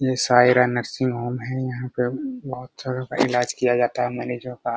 यह Shaira nursing home है यहां पे बहुत सारो को इलाज किया जाता है मरीजो का --